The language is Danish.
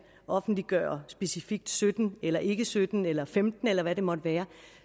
offentliggøre specifikt sytten eller ikke sytten eller femten eller hvad det måtte være